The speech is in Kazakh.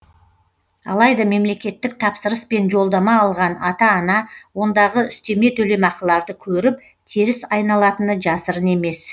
алайда мемлекеттік тапсырыспен жолдама алған ата ана ондағы үстеме төлемақыларды көріп теріс айналатыны жасырын емес